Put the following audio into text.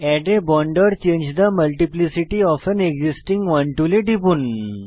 add a bond or change the multiplicity of an existing one টুলে টিপুন